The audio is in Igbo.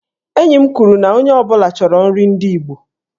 Enyi m kwuru na onye ọ bụla chọrọ nri ndị igbo.